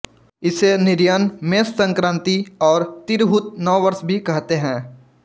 इसे निरयण मेष संक्रांति और तिरहुत नव वर्ष भी कहते हैं